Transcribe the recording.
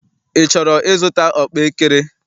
Ị chọrọ ịzụta ọkpaekere?